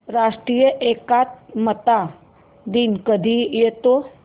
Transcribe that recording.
राष्ट्रीय एकात्मता दिन कधी येतो